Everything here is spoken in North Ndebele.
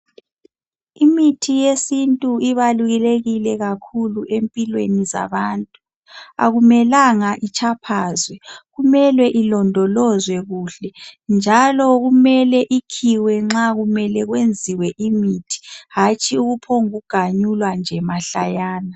Imithi yesintu ibalulekile kakhulu empilweni zabantu. Akumelanga itshaphazwe kumele ilondolozwe kuhle njalo kumele ikhiwe nxa kumele kwenziwa imithi hatshi ukuphungugamulwa nje mahlayana.